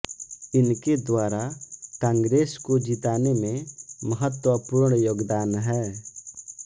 इनके द्वारा कांग्रेस को जिताने में महत्वपूर्ण योगदान है